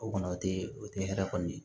O kɔni o te o te hɛrɛ kɔni ye